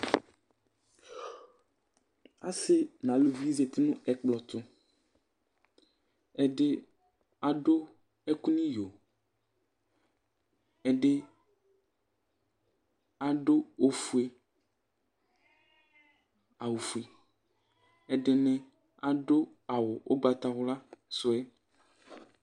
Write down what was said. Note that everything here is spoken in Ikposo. Asɩ nʋ aluvi zati nʋ ɛkplɔ tʋ Ɛdɩ adʋ ɛkʋ nʋ iyo, ɛdɩ adʋ ofue, awʋfue, ɛdɩnɩ adʋ awʋ ʋgbatawla sʋ yɛ